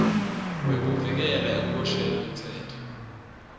wekuvikelwa ekuboshweni umtsetfo